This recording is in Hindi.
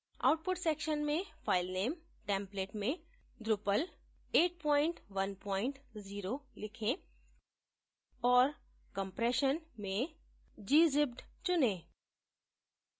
output section में filename template में drupal810 लिखें और compression में gzipped चुनें